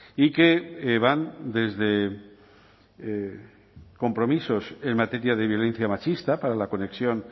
y que van desde compromisos en materia de violencia machista para la conexión